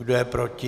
Kdo je proti?